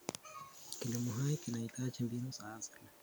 Kilimo hai kinahitaji mbinu za asili.